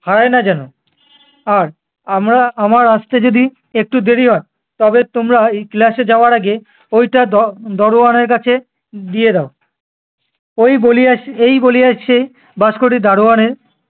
হারায় না যেন। আর আমরা~ আমার আসতে যদি একটু দেরি হয়, তবে তোমরা এই class এ যাওয়ার আগে ওইটা দ~ দরোয়ানের কাছে দিয়ে দাও। ওই বলিয়া, এই বলিয়া সে বাস্কটি দারোয়ানের-